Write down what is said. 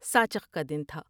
ساچت کا دن تھا ۔